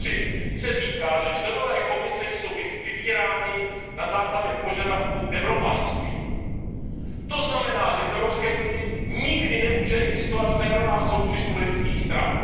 3 se říká, že členové Komise jsou vybíráni na základě požadavků evropanství, to znamená, že v Evropské unii nikdy nemůže existovat férová soutěž politických stran.